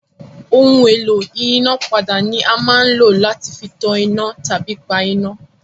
Ohun-èlò ìyínápadà ni a máa ń lò láti fi tan iná tàbí pa iná.